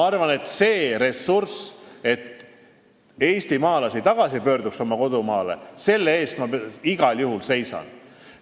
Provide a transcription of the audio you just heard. Selle eest, et eestimaalased oma kodumaale tagasi pöörduks, ma igal juhul seisan.